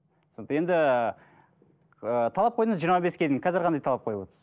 енді ы талап қойдыңыз жиырма беске дейін қазір қандай талап қойып отырсыз